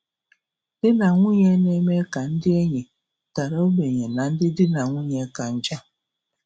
Di na nwunye na-eme ka ndị enyi dara ogbenye na ndị di na na nwunye ka njọ.